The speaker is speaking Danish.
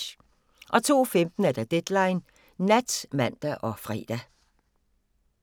02:15: Deadline Nat (man og fre)